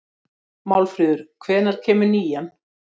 Málfríður, hvenær kemur nían?